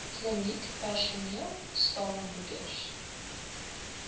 kliniekpersoneel staan moeders